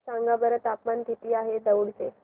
सांगा बरं तापमान किती आहे दौंड चे